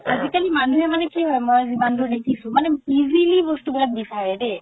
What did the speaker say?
আজি কালি মানুহে মানে কি হয় মই মানে যিমান দুৰ দেখিছো মানে easily বস্তু বিলাক বিচাৰে দেই